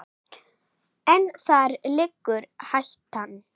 En þar liggur hættan.